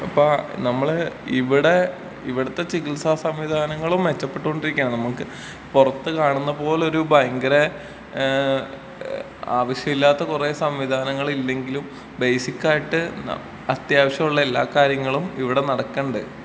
ഇപ്പൊ നമ്മള് ഇവിടെ ഇവിട്ത്തെ ചികിത്സാ സംവിധാനങ്ങളും മെച്ചപ്പെട്ടോണ്ടിരിക്കാണ് നമുക്ക് പൊറത്ത് കാണുന്ന പോലൊരു ഭയങ്കര ഏ ആവശ്യല്ലാത്ത കൊറേ സംവിധാനങ്ങളില്ലെങ്കിലും ബേസിക്കായിട്ട് ന അത്യാവശ്യായിട്ടുള്ള എല്ലാ കാര്യങ്ങളും ഇവിടെ നടക്ക്ണ്ട്.